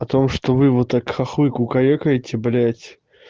потому что вы вот так хохлы кукарекаете блядь